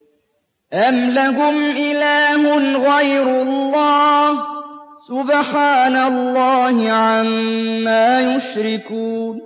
أَمْ لَهُمْ إِلَٰهٌ غَيْرُ اللَّهِ ۚ سُبْحَانَ اللَّهِ عَمَّا يُشْرِكُونَ